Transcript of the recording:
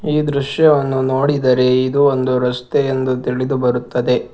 ಈ ದೃಶ್ಯವನ್ನು ನೋಡಿದರೆ ಇದು ಒಂದು ರಸ್ತೆ ಎಂದು ತಿಳಿದು ಬರುತ್ತದೆ.